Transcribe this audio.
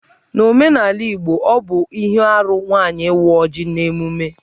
N'omenala Igbo, ọ bụ ihe arụ nwaanyị ị́wá ọ́jị̀ n'emume.